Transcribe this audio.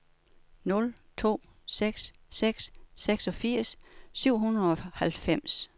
nul to seks seks seksogfirs syv hundrede og halvfems